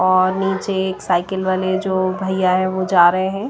और नीचे एक साइकिल वाले जो भैया है वो जा रहे हैं।